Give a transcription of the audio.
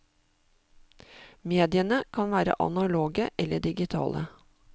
Mediene kan være analoge eller digitale.